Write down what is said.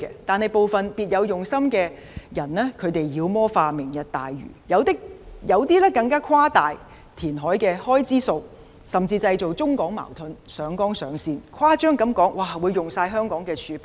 但是，部分別有用心的人妖魔化"明日大嶼"，有些更誇大填海的開支，甚至製造中港矛盾，上綱上線，誇張地說會花光香港的儲備。